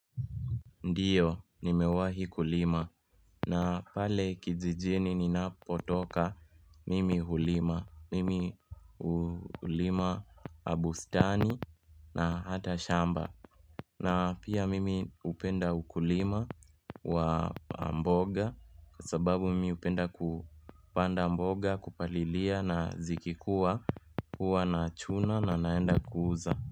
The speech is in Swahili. Ndio nimewahi kulima na pale kijijini ninapotoka mimi hulima mimi hulima bustani na hata shamba na pia mimi hupenda ukulima wa mboga kasababu mimi hupenda kupanda mboga kupalilia na zikikua huwa na chuna na naenda kuuza.